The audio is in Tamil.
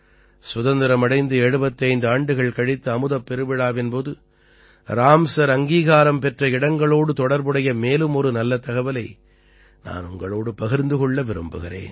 சுதந்திரம் அடைந்து 75 ஆண்டுகள் கழித்து அமுதப் பெருவிழாவின் போது ராம்சர் அங்கீகாரம் பெற்ற இடங்களோடு தொடர்புடைய மேலும் ஒரு நல்ல தகவலை நான் உங்களோடு பகிர்ந்து கொள்ள விரும்புகிறேன்